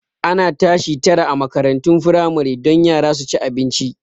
Ana tashi tara a makarantun firamare don yara su ci abinci